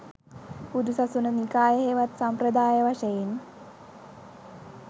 බුදුසසුන නිකාය හෙවත් සම්ප්‍රදාය වශයෙන්